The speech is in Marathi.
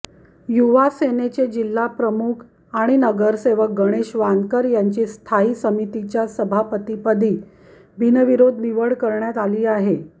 युवासेनेचे जिल्हाप्रमुख आणि नगरसेवक गणेश वानकर यांची स्थायी समितीच्या सभापतीपदी बिनविरोध निवड करण्यात आली आहे